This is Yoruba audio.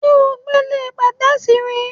Ǹjé̩ o gbéle pè̩té̩è̩sì rí?